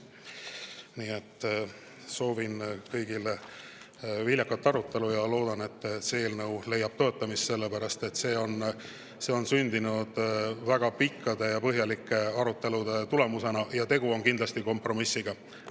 Nii et soovin kõigile viljakat arutelu ja loodan, et see eelnõu leiab toetamist, sellepärast et see on sündinud väga pikkade ja põhjalike arutelude tulemusena ning tegu on kindlasti kompromissiga.